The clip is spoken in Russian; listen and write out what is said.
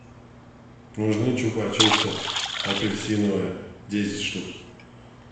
нужны чупа чупсы апельсиновые десять штук